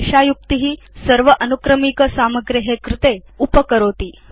एषा युक्ति सर्व अनुक्रमिक सामग्रे कृते उपकरोति